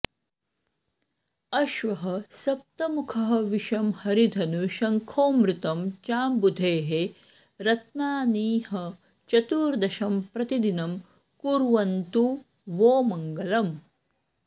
अश्वः सप्तमुखः विषं हरिधनु शंखोऽमृतं चाम्बुधेः रत्नानीह चतुर्दशं प्रतिदिनं कुर्वन्तु वो मंगलम्